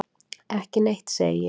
Ekki neitt, segi ég.